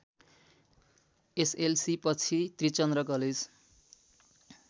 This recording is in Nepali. एसएलसीपछि त्रिचन्द्र कलेज